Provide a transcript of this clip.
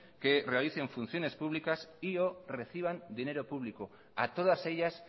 que realicen funciones públicos y o reciban dinero público a todas ellas